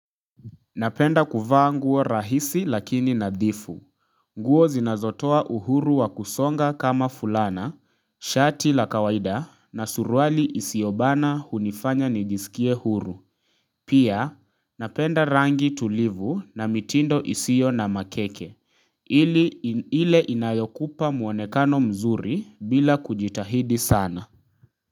Napenda kuvaa nguo rahisi lakini nadhifu nguo zinazotoa uhuru wa kusonga kama fulana, shati la kawaida na suruali isiobana hunifanya nijisikie huru Pia napenda rangi tulivu na mitindo isiyo na makeke ile inayokupa mwonekano mzuri bila kujitahidi sana.